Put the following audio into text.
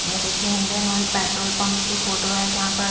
ये देखिए Indian Oil petrol pump की फोटो है जहाँ पर--